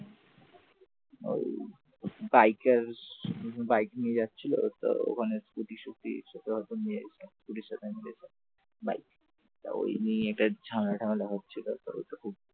ওই bikers bike নিয়ে যাচ্ছিল তো ওখানে স্কুটি টুটির সঙ্গে হয়তো মেরেছে তো ওই নিয়েই ঝামেলাটা মেলা হচ্ছিল।